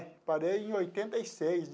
Parei em oitenta e seis.